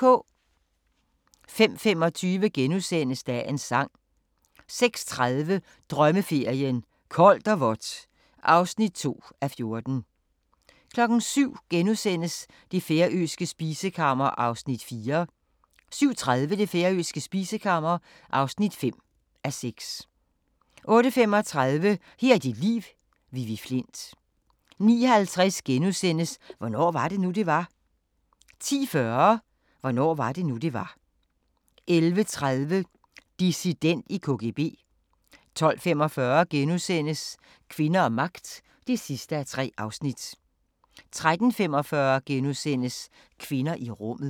05:25: Dagens Sang * 06:30: Drømmeferien: Koldt og vådt (2:14) 07:00: Det færøske spisekammer (4:6)* 07:30: Det færøske spisekammer (5:6) 08:35: Her er dit liv – Vivi Flindt 09:50: Hvornår var det nu, det var? * 10:40: Hvornår var det nu, det var? 11:30: Dissident i KGB 12:45: Kvinder og magt (3:3)* 13:45: Kvinder i rummet *